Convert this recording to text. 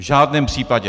V žádném případě.